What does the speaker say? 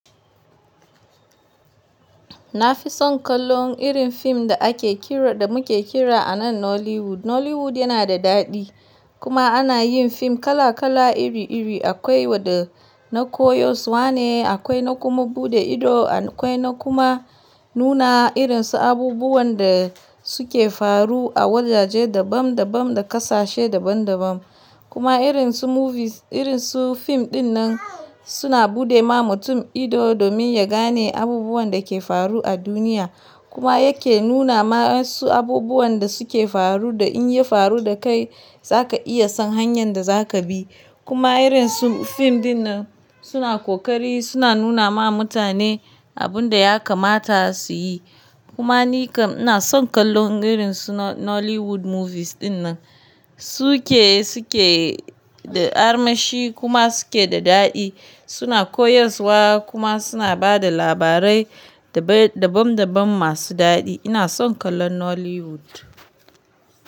Na fi son kallon irin fim da ake kira, da muke kira a nan Nollywood. Nollywood yana da daɗi kuma ana yin fim kala kala iri iri. Akwai wadda na koyas wa ne, akwai na kuma buɗe ido, akwai na kuma nuna irin su abubuwan da suke faru a wajaje dabam dabam da ƙasashe daban daban. Kuma irin su movies, irin su fim ɗin nan suna buɗe ma mutum ido domin ya gane abubuwan da ke faru a duniya. Kuma yake nuna ma su abubuwan da suke faru da in ya faru da kai za ka iya san hanyar da za ka bi. Kuma irin su fim ɗin nan suna ƙoƙari, suna nuna ma mutane abun da ya kamata su yi. Kuma ni kam ina son kallon irin su Nollywood movies ɗin nan. Su ke, su ke da armashi kuma su ke da daɗi, suna koyas wa kuma suna ba da labarai dabam dabam masu daɗi. Ina son kallon Nollywood.